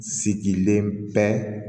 Sigilen bɛ